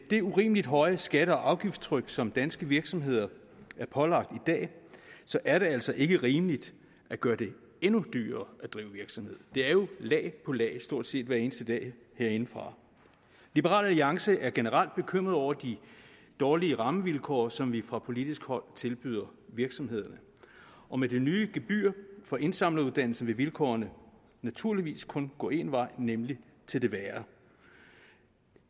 det urimelig høje skatte og afgiftstryk som danske virksomheder er pålagt i dag så er det altså ikke rimeligt at gøre det endnu dyrere at drive virksomhed det er jo lag på lag stort set hver eneste dag herindefra liberal alliance er generelt bekymret over de dårlige rammevilkår som vi fra politisk hold tilbyder virksomhederne og med det nye gebyr for indsamleruddannelsen vil vilkårene naturligvis kun gå én vej nemlig til det værre